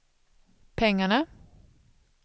pengarna